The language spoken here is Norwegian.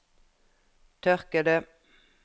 tørkede